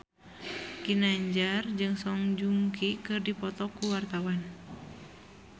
Ginanjar jeung Song Joong Ki keur dipoto ku wartawan